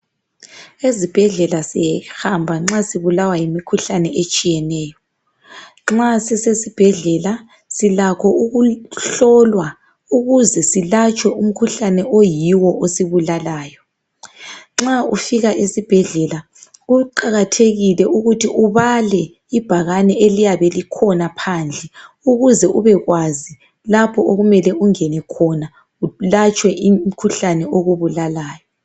Ezibhedlela sihamba nxa sibulawa yimikhuhlane etshiyeneyo, nxa sisesibhedlela silakho ukuhlolwa ukuze silatshwe umkhuhlane oyiwo osibulalayo. Nxa ufika esibhedlela kuqakathekile ukuthi ubale ibhakane eliyabe likhona phandle ukuze ubekwazi lapho okumele ungene khona ulatshwe umkhuhlane okubulalayo.